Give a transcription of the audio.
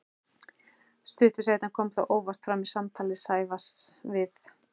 Stuttu seinna kom það óvart fram í samtali Sævars við